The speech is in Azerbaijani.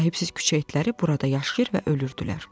Sahibsiz küçə itləri burada yaşayır və ölürdülər.